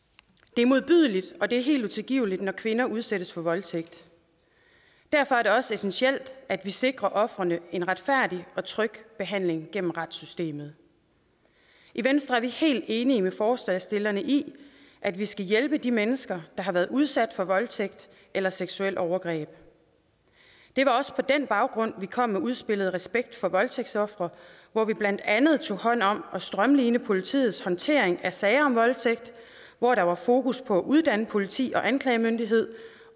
det er modbydeligt og det er helt utilgiveligt når kvinder udsættes for voldtægt derfor er det også essentielt at vi sikrer ofrene en retfærdig og tryg behandling gennem retssystemet i venstre er vi helt enige med forslagsstillerne i at vi skal hjælpe de mennesker der har været udsat for voldtægt eller seksuelle overgreb det var også på den baggrund vi kom med udspillet respekt for voldtægtsofre hvor vi blandt andet tog hånd om at strømline politiets håndtering af sager om voldtægt hvor der var fokus på at uddanne politi og anklagemyndighed